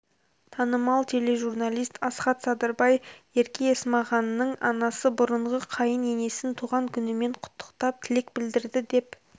танымал тележурналист асхат садырбай ерке есмағанның анасы бұрынғы қайын енесін туған күнімен құттықтап тілек білдірді деп